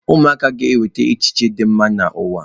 Ụmụaka ga-eweta echiche dị mma n'ụwa.